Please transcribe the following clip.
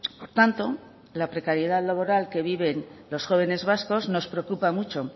por tanto la precariedad laboral que viven los jóvenes vascos nos preocupa mucho